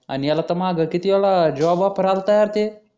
आणि याला तर मागं किती वेळा जॉब ऑफर आलं होतं ते